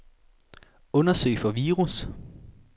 Undersøg for virus.